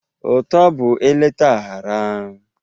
Ụtọ bụ eleta aghara